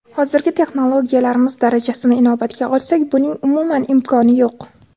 Hozirgi texnologiyalarimiz darajasini inobatga olsak, buning umuman imkoni yo‘q!